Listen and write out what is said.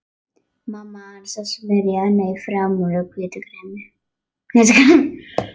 Mamma hans að smyrja hana í framan með hvítu kremi.